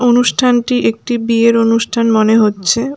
অনুষ্ঠানটি একটি বিয়ের অনুষ্ঠান মনে হচ্ছে।